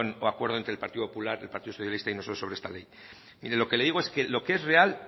o acuerdo entre el partido popular el partido socialista y nosotros sobre esta ley mire lo que le digo es que lo que es real